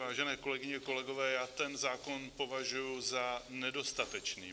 Vážené kolegyně, kolegové, já ten zákon považuji za nedostatečný.